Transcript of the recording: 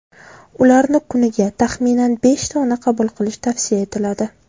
Ularni kuniga, taxminan, besh dona qabul qilish tavsiya etiladi.